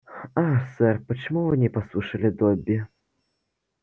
ах сэр почему вы не послушали добби